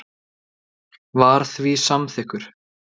var því samþykkur.